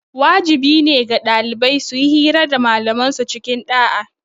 Wajibi ne ga ɗalibai suyi hira da malaman su cikin ɗa'a